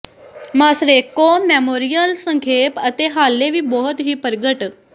Moscow memorial ਸੰਖੇਪ ਅਤੇ ਹਾਲੇ ਵੀ ਬਹੁਤ ਹੀ ਪ੍ਰਗਟ